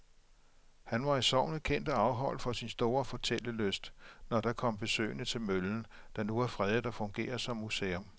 Han var i sognet kendt og afholdt for sin store fortællelyst, når der kom besøgende til møllen, der nu er fredet og fungerer som museum.